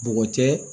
Bɔgɔ tɛ